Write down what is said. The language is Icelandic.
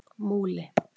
Múli